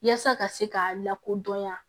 Yaasa ka se k'a lakodɔn yan